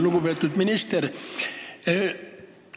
Lugupeetud minister!